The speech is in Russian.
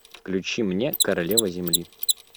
включи мне королева земли